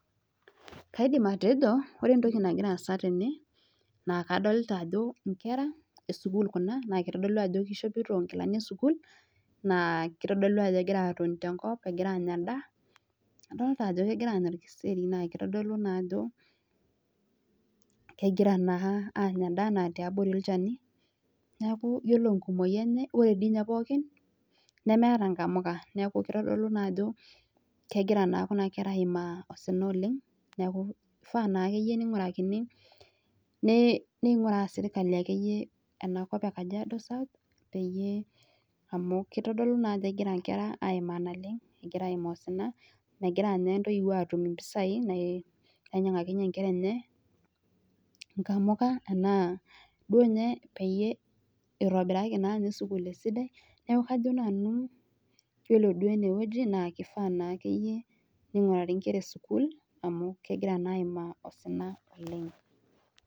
Kaidim atejo oree entoki nagira aasa tene naa kadolta ajo ingera esukul kuna naakitodolu ajo keishopito inkilani esukul naa kitodolu ajo kegira atoni tenkop aanya endaa adolta ajo kegira aanya olkeseri naa kitodolu naa ajo kegira naa aanya endaa naa tiabori olchani neaku iyiolo inkumoi enye oree doi ninyee pooki neemeta inamuka neaku kitodolu naajo kegira kuna kera aimaa osina oleng ifaa naakeyia neingurakini neing'uraa serikali akeyie enakop eee Kajiado South peyiee amuu kitodolu naajo kegira ingera aimaa osina oleng .Megira ninye intoipuo atuum impesai nainyang'akinye inkera enye inkamuka enaa duo ninye peitobiraki naa ninye skul esidai neaku kajo nanu keifaa duo ninye neingurari inkera esukul amuu kegiraa aimaa osina oleng.